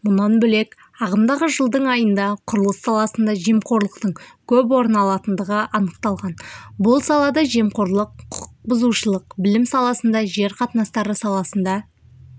мұнан бөлек ағымдағы жылдың айында құрылыс саласында жемқорлықтың көп орын алатындығы анықталған бұл салада жемқорлық құқықбұзушылық білім саласында жер қатынастары саласында